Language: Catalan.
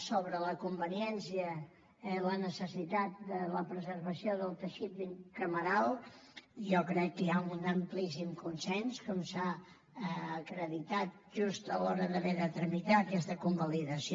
sobre la conveniència i la necessitat de la preservació del teixit cameral jo crec que hi ha un amplíssim consens com s’ha acreditat just a l’hora d’haver de tramitar aquesta convalidació